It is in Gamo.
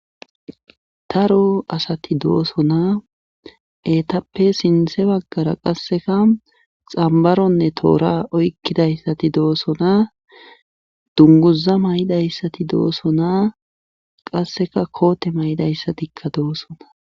Daro asati doosonaa eetappe sinthe baggara qasseka xambaronne toora oykkidayssati doosonaa dunguza may7idayssati doosonaa qasseka koote may7idayssatikka doosona.